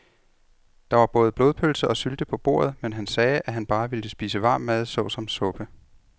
Der var både blodpølse og sylte på bordet, men han sagde, at han bare ville spise varm mad såsom suppe.